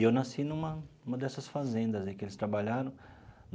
E eu nasci numa numa dessas fazendas aí que eles trabalharam.